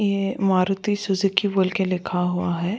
ये मारुति सुजुकी बोल के लिखा हुआ है।